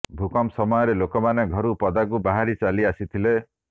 ଭୂକମ୍ପ ସମୟରେ ଲୋକମାନେ ଘରୁ ପଦାକୁ ବାହାରି ଚାଲି ଆସିଥିଲେ